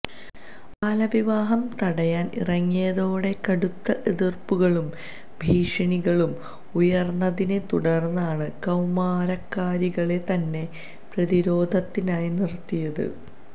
ബാലവിവാഹം തടയാന് ഇറങ്ങിയതോടെ കടുത്ത എതിര്പ്പുകളും ഭീഷണികളും ഉയര്ന്നതിനെ തുടര്ന്നാണ് കൌമാരക്കാരികളെ തന്നെ പ്രതിരോധത്തിനായി നിരത്തിയത്